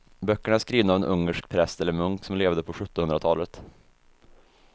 Böckerna är skrivna av en ungersk präst eller munk som levde på sjuttonhundratalet.